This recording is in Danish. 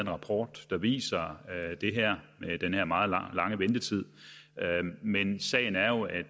rapport der viser den her meget lange ventetid men sagen er jo at